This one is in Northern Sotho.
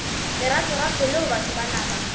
leratorato leo batho ba nama